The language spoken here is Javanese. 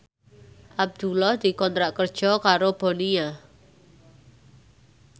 Abdullah dikontrak kerja karo Bonia